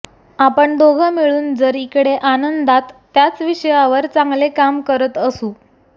आपण दोघं मिळून जर इकडे आनंदात त्याच विषयावर चांगले काम करत असू